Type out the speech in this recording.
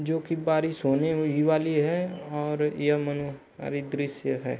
जो कि बारिश होने ही वाली है और यह मनो दृश्य है।